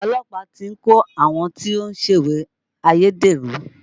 Olọ́pàá ti ń kò àwọn tí wọ́n ń ṣèwé ayédèrú